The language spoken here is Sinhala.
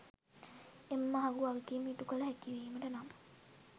එම මහගු වගකිම ඉටුකල හැකිවිමට නම්